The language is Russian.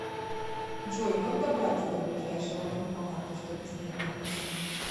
джой как добраться до ближайшего банкомата чтобы снять наличные